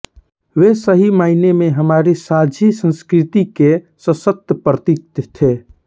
वे सही मायने में हमारी साझी संस्कृति के सशक्त प्रतीक थे